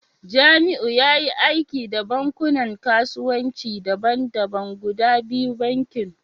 Jamiu yayi aiki da bankunan kasuwanci daban-daban guda biyu, bankin